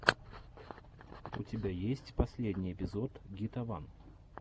у тебя есть последний эпизод гитаван